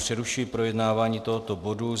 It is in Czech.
Přerušuji projednávání tohoto bodu.